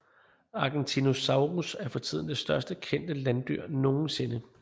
Argentinosaurus er for tiden det største kendte landdyr nogensinde